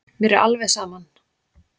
Mér var alveg saman.